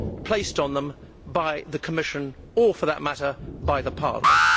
placed on them by the Commission or, for that matter, by Parliament.